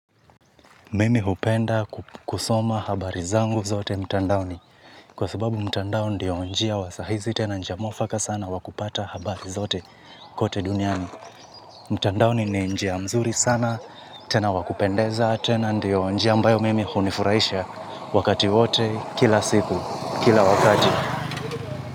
Mimi hupenda kusoma habari zangu zote mtandaoni kwa sababu mtandao ndiyo njia wa sahizi tena njia mwafaka sana wakupata habari zote kote duniani mtandaoni ni njia mzuri sana tena wakupendeza tena ndiyo njia ambayo mimi hunifurahisha wakati wote kila siku kila wakati.